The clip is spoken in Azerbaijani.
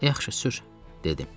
Yaxşı, sür, dedim.